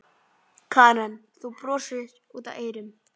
Karen: Þú brosir út af eyrum?